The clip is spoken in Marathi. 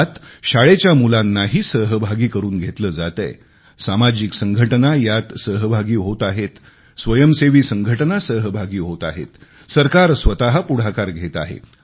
यात शाळेच्या मुलांनाही सहभागी करून घेतले जातेय सामाजिक संघटना यात सहभागी होत आहेत स्वयंसेवी संघटना सहभागी होत आहेत सरकार स्वत पुढाकार घेत आहे